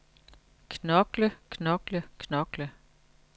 knokle knokle knokle